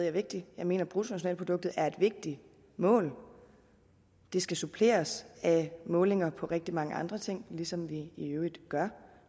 er vigtigt jeg mener at bruttonationalproduktet er et vigtigt mål det skal suppleres med målinger af rigtig mange andre ting ligesom vi i øvrigt gør